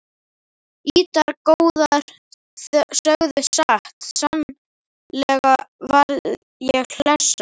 Ýtar góðir sögðu satt sannlega varð ég hlessa